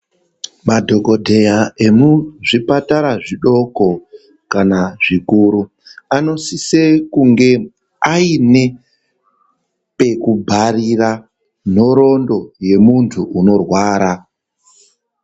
Madhokodheya ekuzvipatara zvidoko kana zvikuru anosisa kunge Aine pekubharira nhorondo yemuntu unorwara.